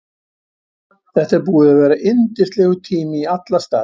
Þetta er búið að vera yndislegur tími í alla staði.